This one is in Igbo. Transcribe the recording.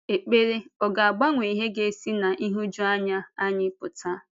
Ekpere ọ̀ ga-agbanwe ihe ga-esi ná nhụjuanya anyị pụta?